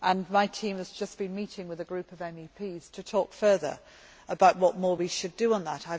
My team has just been meeting with a group of MEPs to talk further about what more we should do on this.